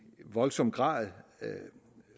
voldsom grad